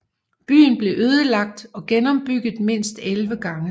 Byen blev ødelagt og genopbygget mindst 11 gange